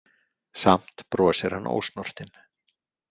Samt brosir hann ósnortinn.